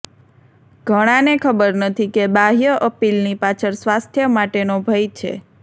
ઘણાને ખબર નથી કે બાહ્ય અપીલની પાછળ સ્વાસ્થ્ય માટેનો ભય છે